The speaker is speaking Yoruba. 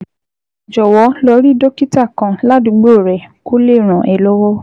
Jọ̀wọ́ lọ rí dókítà kan ládùúgbò rẹ kó lè ràn ẹ́ lọ́wọ́